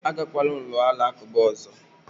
Agakwala ụlọ alakụba ọzọ!